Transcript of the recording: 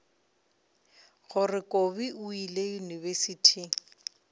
gore kobi o ile yunibesithing